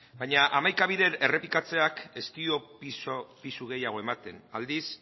baina hamaika bider errepikatzeak ez dio pisu gehiago ematen aldiz